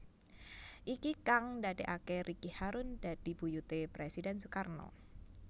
Iki kang ndadekaké Ricky harun dadi buyuté Presiden Sukarno